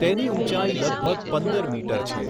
તેની ઉંચાઈ લગભગ પંદર મીટર છે.